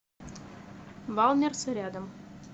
валмерс рядом